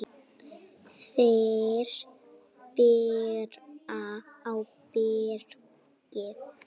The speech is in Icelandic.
Þeir bera ábyrgð.